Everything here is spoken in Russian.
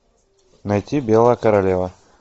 найти белая королева